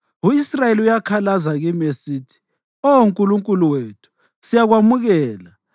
U-Israyeli uyakhalaza kimi esithi, ‘Oh Nkulunkulu wethu, siyakwamukela!’